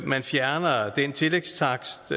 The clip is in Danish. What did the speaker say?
man fjerner den tillægstakst